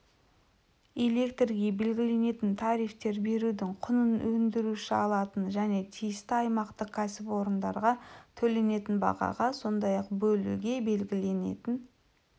электрге белгіленетін тарифтер берудің құнын өндіруші алатын және тиісті аймақтық кәсіпорындарға төленетін бағаға сондай-ақ бөлуге белгіленетін